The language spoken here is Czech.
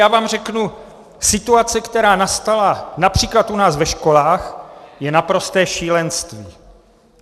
Já vám řeknu, že situace, která nastala například u nás ve školách, je naprosté šílenství.